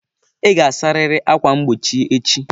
Ị ga-asarịrị ákwà mgbochi echi.